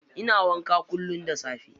Ina wanka kullum da safe.